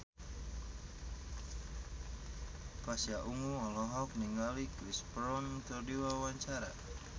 Pasha Ungu olohok ningali Chris Brown keur diwawancara